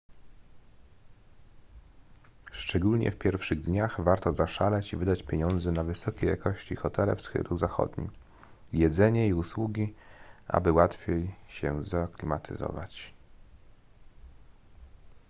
szczególnie w pierwszych dniach warto zaszaleć i wydać pieniądze na wysokiej jakości hotele w stylu zachodnim jedzenie i usługi aby łatwiej się zaaklimatyzować